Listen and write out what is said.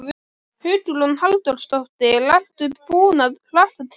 Hugrún Halldórsdóttir: Ertu búinn að hlakka til?